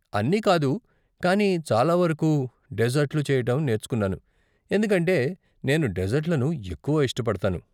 అన్నీ కాదు, కానీ చాలా వరకు డెజర్ట్లు చెయ్యటం నేర్చుకున్నాను, ఎందుకంటే నేను డెజర్ట్లను ఎక్కువ ఇష్టపడతాను.